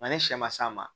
Nka ni sɛ ma s'a ma